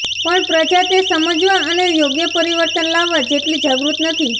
પણ પ્રજા તે સમજવા અને યોગ્ય પરિવર્તન લાવવા જેટલી જાગૃત નથી